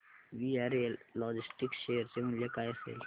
VRL logistics share चे मूल्य काय असेल